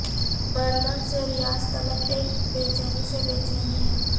Berlin سے Riyadh تلک ایک بے چینی سی بے چینی ھے